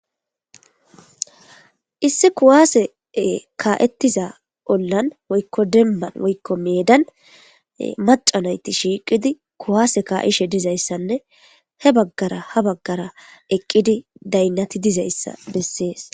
Issi kuwaase kaa'ettiza ollan woykko demman woykko meedan macanayti shiiqidi kuwaase kaa'ishe dizayssanne he baggara ha baggara eqqidi daynnati dizayssa bessees.